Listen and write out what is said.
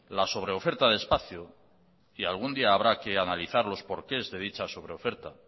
la sobreoferta de espacio que algún día habrá que analizarlos por qué esta dicha sobreoferta